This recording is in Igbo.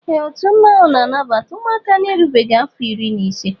Ee ọtu mmanwụ na-anabata ụmụaka na-erubeghi afọ irí na ise